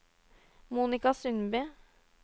Monica Sundby